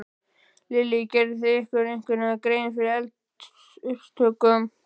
Lillý: Gerið þið ykkur einhverja grein fyrir eldsupptökum?